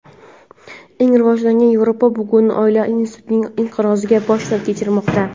Eng rivojlangan Yevropa bugun oila institutining inqirozini boshdan kechirmoqda.